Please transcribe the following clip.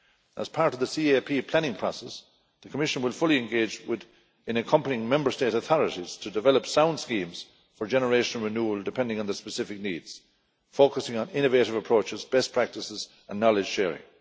As part of the CAP planning process, the Commission will fully engage in accompanying Member State authorities to develop sound schemes for generational renewal, depending on the specific needs, focusing on innovative approaches, best practices and knowledge sharing.